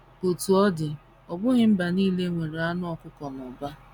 Otú ọ dị, ọ bụghị mba nile nwere anụ ọkụkọ n’ụba.